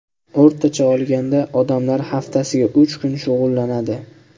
O‘rtacha olganda, odamlar haftasiga uch kun shug‘ullanadi.